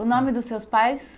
O nome dos seus pais?